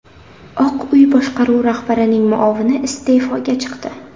Oq uy boshqaruvi rahbarining muovini iste’foga chiqdi.